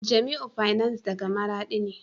Jamiu fiance daga maradi ne